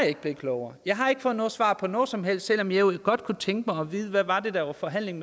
ikke blevet klogere jeg har ikke fået noget svar på noget som helst selv om jeg godt kunne tænke mig at vide hvad det var der var forhandling